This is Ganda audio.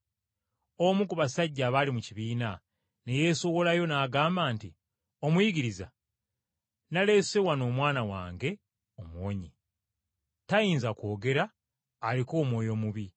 Omu ku basajja abaali mu kibiina ne yeesowolayo n’agamba nti, “Omuyigiriza, naleese wano omwana wange omuwonye. Tayinza kwogera aliko omwoyo omubi.